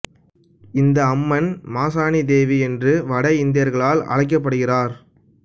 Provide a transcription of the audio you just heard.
இந்த அம்மன் மாசாணி தேவி என்று வட இந்தியர்களால் அழைக்கப்படுகிறார்